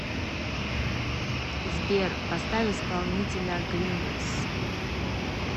сбер поставь исполнителя гримес